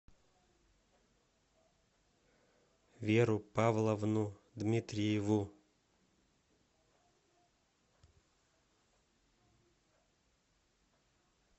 веру павловну дмитриеву